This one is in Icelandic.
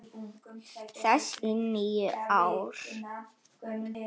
þess í níu ár.